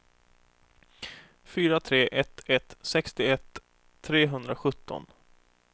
fyra tre ett ett sextioett trehundrasjutton